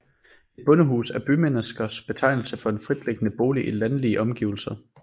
Et bondehus er bymenneskers betegnelse for en fritliggende bolig i landlige omgivelser